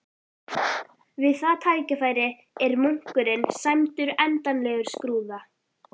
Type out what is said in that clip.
Við það tækifæri er munkurinn sæmdur endanlegum skrúða.